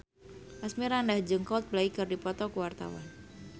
Asmirandah jeung Coldplay keur dipoto ku wartawan